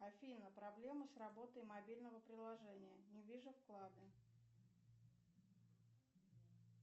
афина проблемы с работой мобильного приложения не вижу вклады